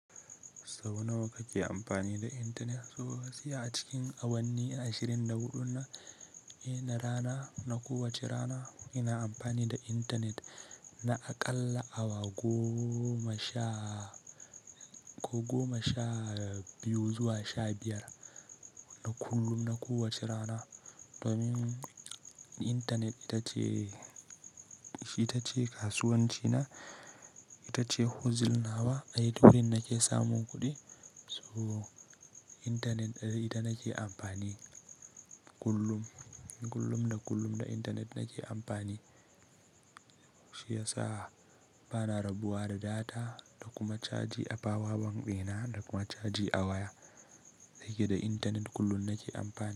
Sau nawa kake amfani da intanet? To, gaskiya a cikin awanni ashirin da huɗun na, eh na rana, na kowace rana ina amfani da internet na aƙalla awa goma sha, ko goma sha biyu zuwa sha biyar. Na kullum, na kowace rana. Domin intanet ita ce, itace kasuwancina, ita ce hustling nawa, a ita ne nake samun kuɗi. So intanet da ita nake amfani kullum. Kullum da kullum da intanet nake amfani. Shi yasa bana rabuwa da data da kuma caji a power bank dina da kuma caji a waya. Da yake da intanet kullum nake amfani.